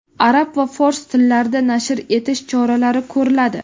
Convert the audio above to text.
arab va fors tillarida nashr etish choralari ko‘riladi.